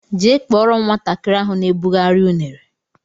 Jee kpọrọ m nwatakịrị ahụ na ebughari unere!!!